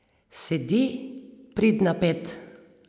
Sedi, pridna, pet.